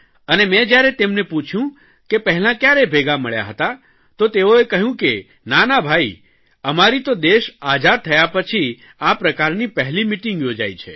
અને મેં જયારે તેમને પૂછયું કે પહેલા કયારે ભેગા મળ્યા હતા તો તેઓએ કહ્યું કે નાના ભાઇ અમારી તો દેશ આઝાદ થયા પછી આ પ્રકારની પહેલી મીટીંગ યોજાઇ છે